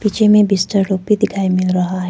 नीचे में बिस्तर लोग भी दिखाई मिल रहा है।